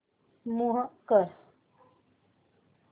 move कर